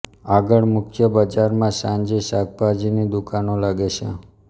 આગળ મુખ્ય બજારમાં સાંજે શાકભાજીની દુકાનો લાગે છે